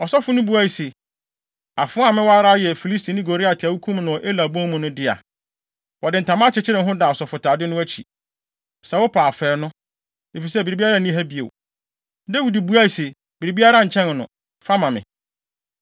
Ɔsɔfo no buae se, “Afoa a mewɔ ara yɛ Filistini Goliat a wukum no wɔ Ela bon mu no dea. Wɔde ntama akyekyere ho da asɔfotade no akyi. Sɛ wopɛ a, fa ɛno, efisɛ biribiara nni ha bio.” Dawid buae se, “Biribiara nkyɛn no. Fa ma me.”